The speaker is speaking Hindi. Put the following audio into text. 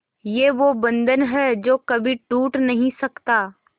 ये वो बंधन है जो कभी टूट नही सकता